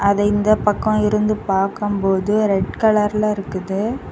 அதை இந்த பக்கம் இருந்து பார்க்கும்போது ரெட் கலர்ல இருக்குது.